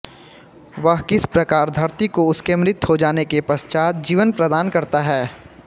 वह किस प्रकार धरती को उसके मृत हो जाने के पश्चात जीवन प्रदान करता है